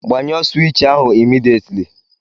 Gbanyụọ sụwich ahụ immediately!